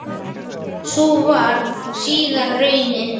Sú varð síðar raunin.